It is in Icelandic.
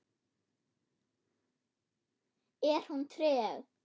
Er hún treg?